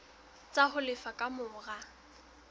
tsa ho lefa ka mora